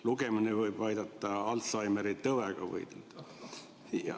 Lugemine võib aidata Alzheimeri tõvega võidelda.